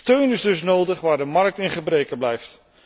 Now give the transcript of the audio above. Steun is dus nodig waar de markt in gebreke blijft.